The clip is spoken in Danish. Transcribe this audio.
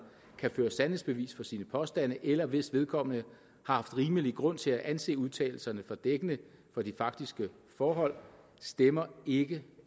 kan føre sandhedsbevis for sine påstande eller hvis vedkommende har haft rimelig grund til at anse udtalelserne for dækkende for de faktiske forhold stemmer ikke